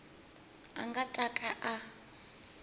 a nga ta ka a